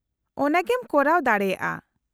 -ᱚᱱᱟ ᱜᱮᱢ ᱠᱚᱨᱟᱣ ᱫᱟᱲᱮᱭᱟᱜᱼᱟ ᱾